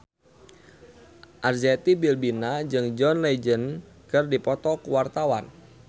Arzetti Bilbina jeung John Legend keur dipoto ku wartawan